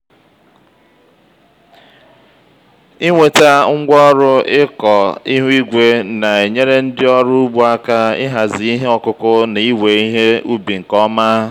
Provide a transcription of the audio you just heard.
ịnweta ngwaọrụ ịkọ ihu igwe na-enyere ndị ọrụ ugbo aka ịhazi ihe ọkụkụ na iwe ihe ubi nke ọma.